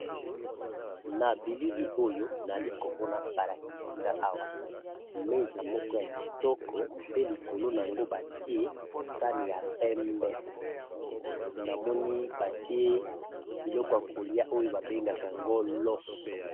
Na billi Oyo bazolakisa Nagai sani eza na mesa lokolo Nango eza bololo yakolia ézali loso